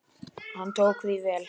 Hann tók því vel.